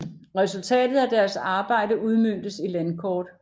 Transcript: Resultatet af deres arbejde udmøntes i landkort